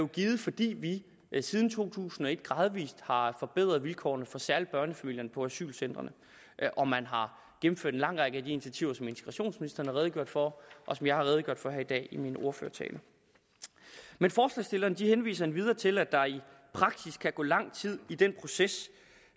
givet fordi vi siden to tusind og et gradvis har forbedret vilkårene særlig for børnefamilierne på asylcentrene og man har gennemført en lang række af de initiativer som integrationsministeren har redegjort for og som jeg har redegjort for her i dag i min ordførertale men forslagsstillerne henviser endvidere til at der i praksis kan gå lang tid i den proces